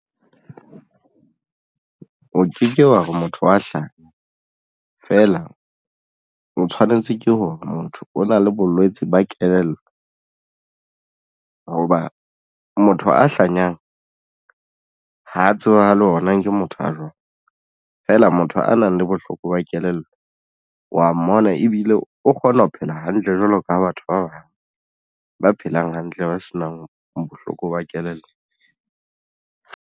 O ke ke wa re motho o ya hlanya feela, o tshwanetse ke hore motho o na le bolwetsi ba kelello hoba motho a hlanyang ho tseba le ona ke motho a jwalo feela motho a nang le bohloko ba kelello wa mmona ebile o kgona ho phela hantle jwalo ka ha batho ba bang ba phelang hantle ba se nang bohloko ba kelello.